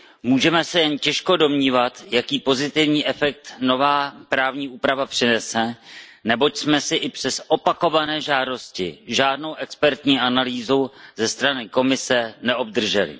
Můžeme se jen těžko domnívat, jaký pozitivní efekt nová právní úprava přinese, neboť jsme i přes opakované žádosti žádnou expertní analýzu ze strany Komise neobdrželi.